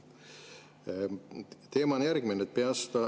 Teema on järgmine.